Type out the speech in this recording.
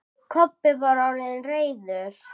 Kobbi var orðinn reiður.